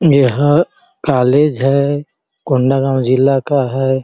यह कॉलेज है कोंडा गाँव जिला का है।